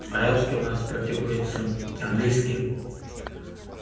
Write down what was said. арабский у нас практикуется английский